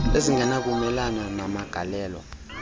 ezingena kumelana namagalelo